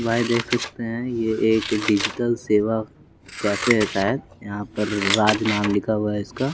भाई देख सकते हैं ये एक डिजिटल सेवा कैफे है शायद यहाँ पररर राज नाम लिखा हुआ है इसका --